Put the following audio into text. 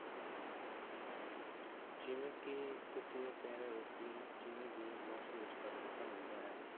ਜਿਵੇਂ ਕਿ ਤੁਸੀਂ ਕਹਿ ਰਹੇ ਹੋ ਕਿ ਜਿਵੇਂ ਜਿਵੇਂ ਮੌਸਮ ਵਿੱਚ ਪਰਿਵਰਤਨ ਹੁੰਦਾ ਹੈ